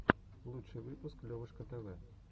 лучший выпуск левушка тв